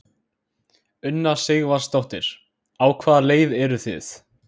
Una Sighvatsdóttir: Á hvaða leið eru þið?